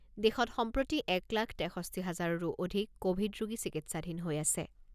দেশত সম্প্ৰতি এক লাখ তেষষ্ঠি হাজাৰৰো অধিক ক'ভিড ৰোগী চিকিৎসাধীন হৈ আছে।